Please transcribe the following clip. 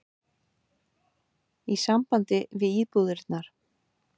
í sambandi við íbúðirnar.